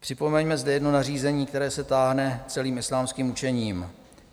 Připomeňme zde jedno nařízení, které se táhne celým islámským učením.